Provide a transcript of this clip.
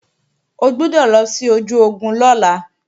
O gbọ́dọ̀ lọ sí ojú ogun lọ́la